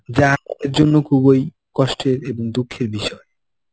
যার জন্য খুবই কষ্টের এবং দুঃখের বিষয়.